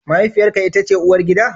Mahaifiyarka ita ce uwargida?